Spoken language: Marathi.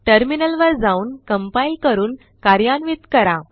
टर्मिनलवर जाऊनcompile करून कार्यान्वित करा